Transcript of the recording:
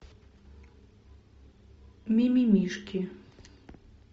мимимишки